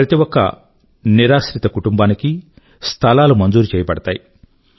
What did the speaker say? ప్రతి ఒక్క నిరాశ్రిత కుటుంబానికీ స్థలాలు మంజూరు చెయ్యబడతాయి